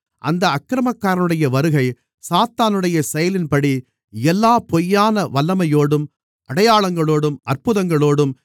அந்த அக்கிரமக்காரனுடைய வருகை சாத்தானுடைய செயலின்படி எல்லா பொய்யான வல்லமையோடும் அடையாளங்களோடும் அற்புதங்களோடும்